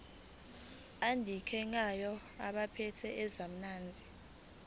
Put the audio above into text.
adingekayo kwabaphethe ezamanzi